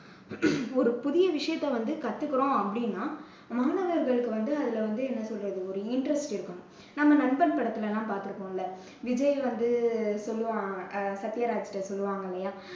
ஒரு புதிய விஷயத்தை வந்து கத்துக்குறோம் அப்படின்னா, மாணவர்களுக்கு வந்து அதுல வந்து என்ன சொல்றது வந்து ஒரு interest இருக்கணும். நாம நண்பன் படத்துல எல்லாம் பாத்துருப்போம்ல, விஜய் வந்து சொல்லுவான், அஹ் சத்யராஜ்ட்ட சொல்லுவான் இல்லையா